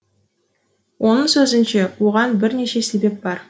оның сөзінше оған бірнеше себеп бар